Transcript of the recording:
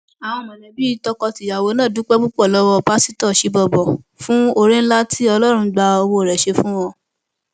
àwọn mọlẹbí tọkọtìyàwó náà dúpẹ púpọ lọwọ pásítọ chibubur fún oore ńlá tí ọlọrun gba owó rẹ ṣe fún wọn